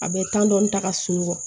A bɛ dɔɔni ta ka sunɔgɔ